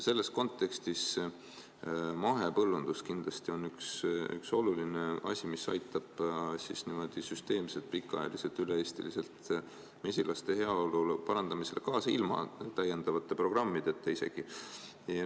Selles kontekstis on mahepõllundus kindlasti üks oluline asi, mis aitab süsteemselt, pikaajaliselt, üle-eestiliselt mesilaste heaolu parandamisele kaasa isegi ilma täiendavate programmideta.